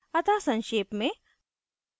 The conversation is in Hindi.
अतः संक्षेप में